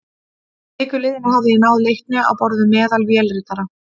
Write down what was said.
Að viku liðinni hafði ég náð leikni á borð við meðal vélritara.